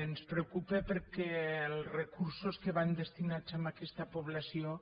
ens preocupa perquè els recursos que van destinats a aquesta població